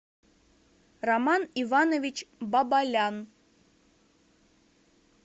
роман иванович бабалян